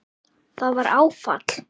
Það var áfall.